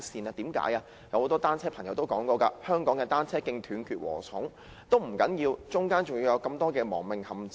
其實，很多單車使用者也說香港的單車徑像"斷截禾蟲"，中間還有許麼多亡命陷阱。